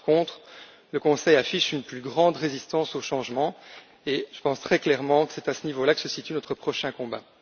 Par contre, le Conseil affiche une plus grande résistance au changement et je pense très clairement que c'est à ce niveau là que se situe notre prochain combat.